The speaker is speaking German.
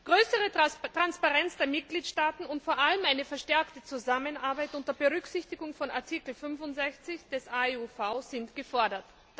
Größere Transparenz der Mitgliedstaaten und vor allem eine verstärkte Zusammenarbeit unter Berücksichtigung von Artikel 65 des AEUV sind gefordert.